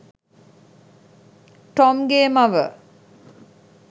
Tom ගේ මව.